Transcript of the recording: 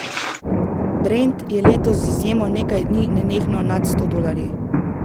Brent je letos z izjemo nekaj dni nenehno nad sto dolarji.